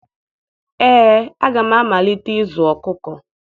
Ee, aga m amalite ịzụ ọkụkọ